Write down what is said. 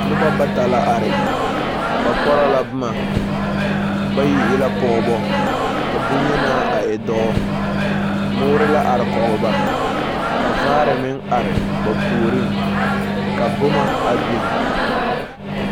Noba bata la are, ba pͻrͻ la boma. Bayi e la pͻgebͻ ka boŋyenaa a e dͻͻ. mõõre la are kͻge ba, ka vaare meŋ are ba puoriŋ, ka boma a biŋ.